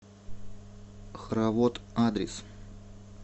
хоровод адрес